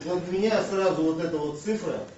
вот у меня сразу вот эта вот цифра